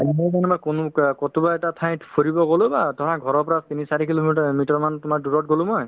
এটা ঠাইত ফুৰিব গ'লো বা ধৰা ঘৰৰ পৰা তিনি চাৰি kilo meter~ meter মান তোমাৰ দূৰত গ'লো মই